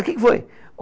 O que que foi?